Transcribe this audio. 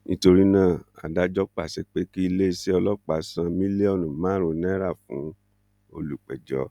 nítorí náà adájọ pàṣẹ pé kí iléeṣẹ ọlọpàá san mílíọnù márùn náírà fún olùpẹjọ